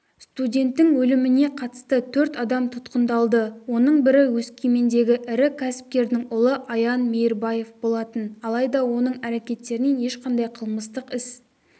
студенттің өліміне қатысты төрт адам тұтқындалды оның бірі өскемендегі ірі кәсіпкердің ұлы аян мейірбаев болатын алайда оның әрекеттерінен ешқандай қылмыстық іс